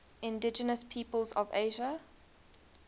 indigenous peoples of asia